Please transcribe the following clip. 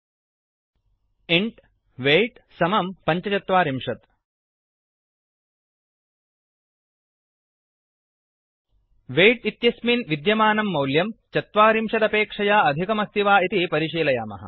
int weight 45इण्ट् weight समं पञ्चचत्वारिंशत् वेय्ट् इत्यस्य्मिन् विद्यमानं मौल्यं 40 चत्वारिंशदपेक्षया अधिकमस्ति वा इति परिशीलयामः